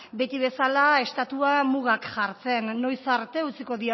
beti bezala estatua mugak jartzen noiz arte utziko